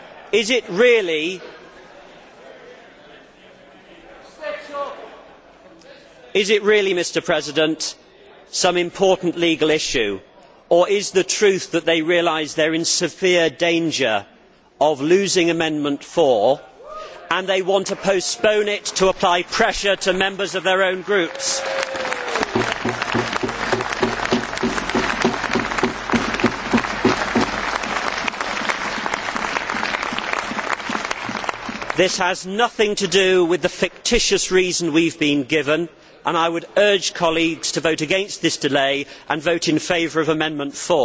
Is it really some important legal issue, or is the truth that they realise they are in severe danger of losing Amendment No 4 and they want to postpone it so as to apply pressure to members of their own groups? This has nothing to do with the fictitious reason we have been given, and I would urge colleagues to vote against this delay and vote in favour of Amendment No